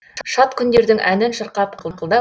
шат күндердің әнін шырқап қыңқылдап